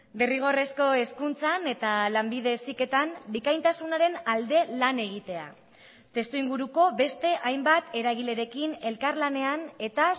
derrigorrezko hezkuntzan eta lanbide heziketan bikaintasunaren alde lan egitea testuinguruko beste hainbat eragilerekin elkarlanean eta